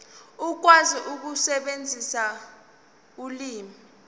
ukwazi ukusebenzisa ulimi